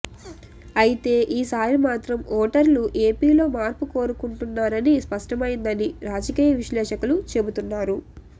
అయితే ఈసారి మాత్రం ఓటర్లు ఏపీలో మార్పు కోరుకుంటున్నారని స్పష్టమైందని రాజకీయ విశ్లేషకులు చెబుతున్నారు